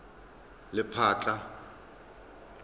lephatla